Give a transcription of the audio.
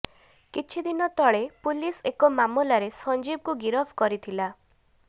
କିଛିଦନ ତଳେ ପୁଲିସ ଏକ ମାମଲାରେ ସଞ୍ଜୀବକୁ ଗିରଫ କରିଥିଲା